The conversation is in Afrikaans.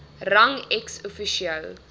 rang ex officio